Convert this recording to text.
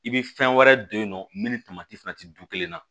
I bɛ fɛn wɛrɛ don yen nɔ min ni tamati fɛnɛ ti du kelen na